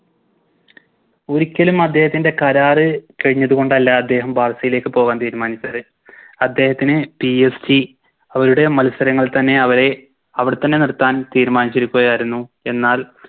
ഒരിക്കലും അദ്ദേഹത്തിൻറെ കരാറ് കയിഞ്ഞത് കൊണ്ടല്ല അദ്ദേഹം ബാഴ്‌സയിലേക്ക് പോകാൻ തീരുമാനിച്ചത് അദ്ദേഹത്തിന് PSG അവരുടെ മത്സരങ്ങളിൽ തന്നെ അവരെ അവിടെത്തന്നെ നിർത്താൻ തീരുമാനിച്ചിരിക്കുകയായിരുന്നു എന്നാൽ